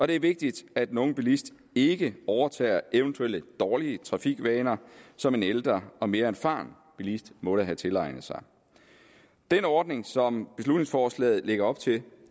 det er vigtigt at den unge bilist ikke overtager eventuelle dårlige trafikvaner som en ældre og mere erfaren bilist måtte have tilegnet sig den ordning som beslutningsforslaget lægger op til